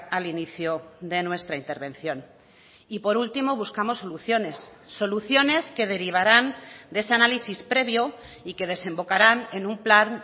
al inicio de nuestra intervención y por último buscamos soluciones soluciones que derivarán de ese análisis previo y que desembocarán en un plan